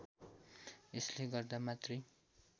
यसले गर्दा मातृ